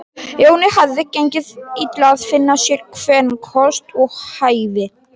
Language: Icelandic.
Jóni hafði gengið illa að finna sér kvenkost við hæfi.